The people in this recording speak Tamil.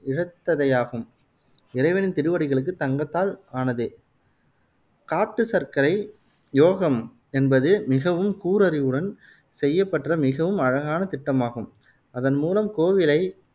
இழைத்ததையாகும். இறைவனின் திருவடிகளுக்கு தங்கத்தால் ஆனத காட்டு சர்க்கரை யோகம் என்பது மிகவும் கூர் அறிவுடன் செய்யப்பெற்ற மிகவும் அழகான திட்டமாகும், அதன் மூலம் கோவிலை